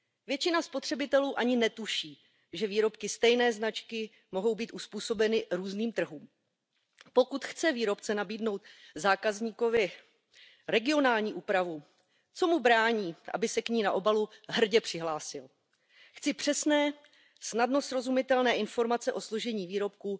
Většina spotřebitelů ani netuší, že výrobky stejné značky mohou být uzpůsobeny různým trhům. Pokud chce výrobce nabídnout zákazníkovi regionální úpravu, co mu brání, aby se k ní na obalu hrdě přihlásil? Chci přesné a na první pohled snadno srozumitelné informace o složení výrobku.